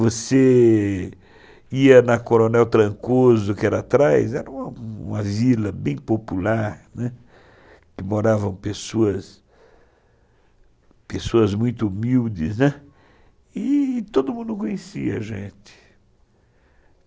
Você ia na Coronel Trancoso, que era atrás, era uma vila bem popular, né, que moravam pessoas, pessoas muito humildes, né, e todo mundo conhecia a gente.